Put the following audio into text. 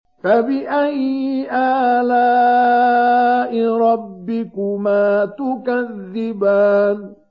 فَبِأَيِّ آلَاءِ رَبِّكُمَا تُكَذِّبَانِ